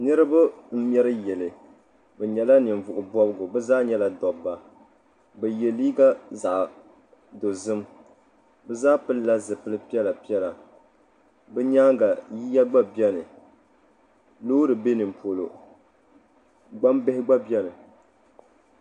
Niriba n ŋmɛri yili bi yɛla ninvuɣi bɔbigu bi zaa nyɛla dabba bi yiɛ liiga zaɣi dozim bi zaa pili la zupili piɛlla piɛlla bi yɛanga yiya gba biɛni loori bɛ nin polo gbaŋ bihi gba biɛni.